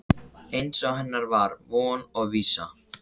Eins og hennar var von og vísa.